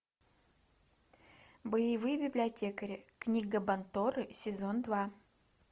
боевые библиотекари книга банторры сезон два